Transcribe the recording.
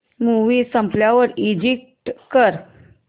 movie संपल्यावर exit कर